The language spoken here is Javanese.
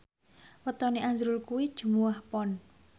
wetone azrul kuwi Jumuwah Pon